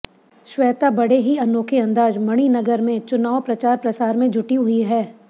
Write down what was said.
श्वेता बड़े ही अनोखे अंदाज मणिनगर में चुनाव प्रचार प्रसार में जुटी हुई है